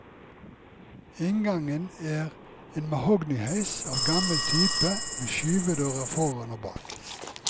Inngangen er en mahognyheis av gammel type, med skyvedører foran og bak.